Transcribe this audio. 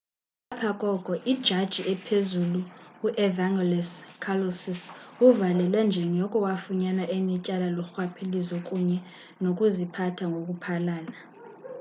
ngapha koko ijaji ephezulu u-evangelos kalousis uvalelwe njengoko wafunyanwa enetyala lorhwaphilizo kunye nokuziphatha ngoku phalala